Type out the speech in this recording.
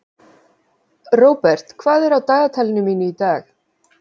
Robert, hvað er á dagatalinu mínu í dag?